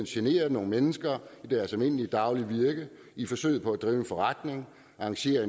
generer nogle mennesker i deres almindelige daglige virke i forsøget på at drive en forretning arrangere